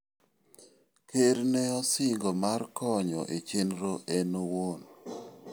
Ker ne osingo mar konyo e chenrono en owuon.